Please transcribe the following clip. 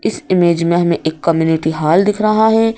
इस इमेज में हमें एक कम्युनिटी हॉल दिख रहा है।